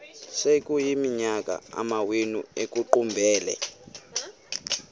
sekuyiminyaka amawenu ekuqumbele